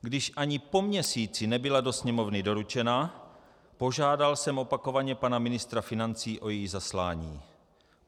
Když ani po měsíci nebyla do Sněmovny doručena, požádal jsem opakovaně pana ministra financí o její zaslání.